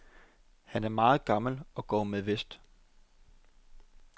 Han er meget gammel og går med vest.